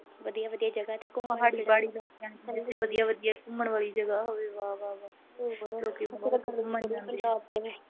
ਵਧੀਆ ਵਧੀਆ ਜਗਾ ਤੇ ਘੁੰਮਣ ਨੂੰ। ਜਿਥੇ ਵਧੀਆ-ਵਧੀਆ ਘੁੰਮਣ ਵਾਲੀ ਜਗਾ ਹੋਵੇ ਵਾਹ-ਵਾਹ।